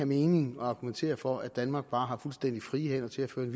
mening at argumentere for at danmark bare har fuldstændig frie hænder til at føre en